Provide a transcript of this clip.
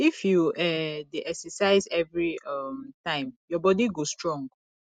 if you um dey exercise every um time your body go strong